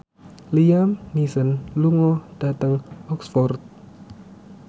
Liam Neeson lunga dhateng Oxford